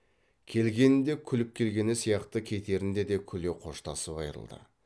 келгенінде күліп келгені сияқты кетерінде де күле қоштасып айрылды